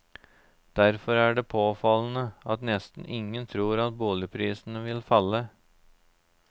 Derfor er det påfallende at nesten ingen tror at boligprisene vil falle.